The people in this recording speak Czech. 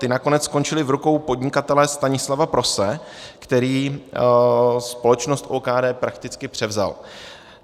Ty nakonec skončily v rukou podnikatele Stanislava Prose, který společnost OKD prakticky převzal.